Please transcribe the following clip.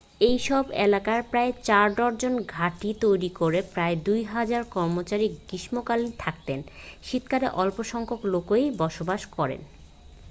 এই সব এলাকায় প্রায় 4 ডজন ঘাঁটি তৈরি করে প্রায় দুহাজার কর্মচারী গ্রীষ্মকালে থাকেন শীতকালে অল্প সংখ্যক লোকই বসবাস করেন